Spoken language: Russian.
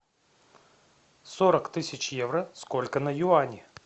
сорок тысяч евро сколько на юани